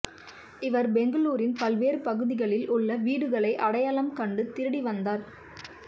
இவர் பெங்களூரின் பல்வேறு பகுதிகளில் உள்ள வீடுகளை அடையாளம் கண்டு திருடி வந்தார்